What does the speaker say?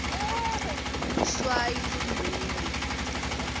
luswayi lumunyu